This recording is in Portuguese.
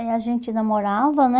Eh... a gente namorava, né?